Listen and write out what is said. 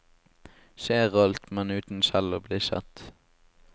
Ser alt, men uten selv å bli sett.